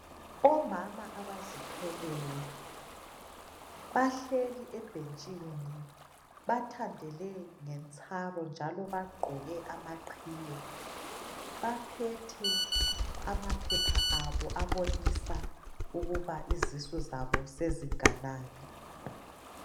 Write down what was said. Omama abazithweleyo bahleli ebhentsini bathandele ngentsaro njalo bagqoke amaqhiye baphethe amaphepha abo abonika ukuba izisu zabo sezinganani.